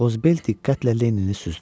Qozbel diqqətlə Lennini süzdü.